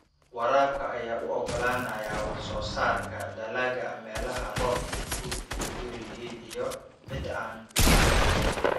Waraabka ayaa u ogolaanaya wax soo saarka dalagga meelaha roobabku ku yar yihiin iyo ciidda aan bacrin ahayn.